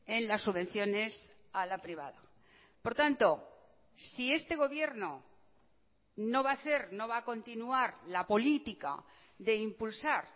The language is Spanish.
en las subvenciones a la privada por tanto si este gobierno no va a hacer no va a continuar la política de impulsar